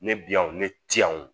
Ne bi yan o ne ti yan o